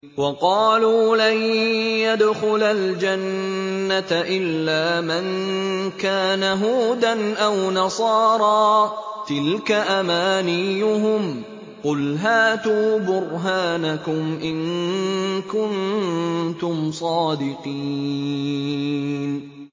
وَقَالُوا لَن يَدْخُلَ الْجَنَّةَ إِلَّا مَن كَانَ هُودًا أَوْ نَصَارَىٰ ۗ تِلْكَ أَمَانِيُّهُمْ ۗ قُلْ هَاتُوا بُرْهَانَكُمْ إِن كُنتُمْ صَادِقِينَ